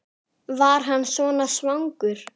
Ef ekki hvað annað?